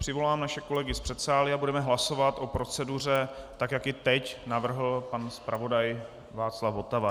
Přivolám naše kolegy z předsálí a budeme hlasovat o proceduře tak, jak ji teď navrhl pan zpravodaj Václav Votava.